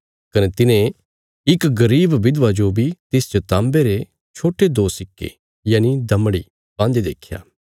कने तिने इक गरीब विधवा जो बी तिसच ताँबे रे छोट्टे दो सिक्के दमड़ी पान्दे देख्या